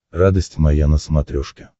радость моя на смотрешке